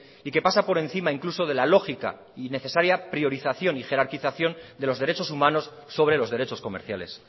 y que pasa por encima incluso de la lógica y necesaria priorización y jerarquización de los derechos humanos sobre los derechos comerciales